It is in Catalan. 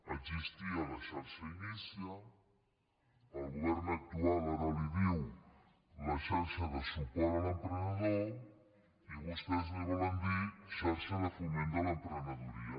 existia la xarxa inicia el govern actual ara en diu la xarxa de suport a l’emprenedor i vostès en volen dir xarxa de foment de l’emprenedoria